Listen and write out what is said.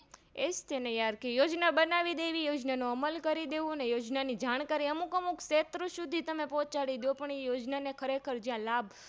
એજ તેને Yar કે યોજના બનાઈદેવી યોજનાનો અમલ કરીદેવોઅને યોજના ની જાણકારી અમુક અમુક શેત્રો સુધી તમે પોહચાડી દો પણ એ યોજના ને ખરેખર લાભ